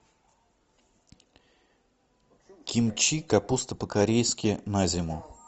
кимчи капуста по корейски на зиму